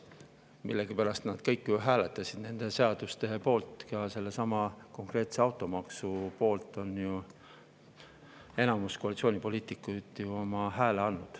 Millegipärast nad kõik hääletasid nende seaduste poolt, ka sellesama automaksu poolt on enamus koalitsioonipoliitikuid hääle andnud.